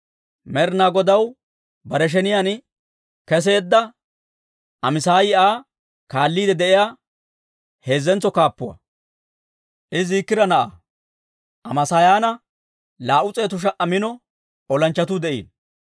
Med'inaa Godaw bare sheniyaan keseedda Amaasaayi Aa kaalliide de'iyaa heezzentso kaappuwaa; I Ziikira na'aa. Amaasaayaana 200,000 mino olanchchatuu de'iino.